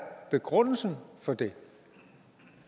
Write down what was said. begrundelsen for det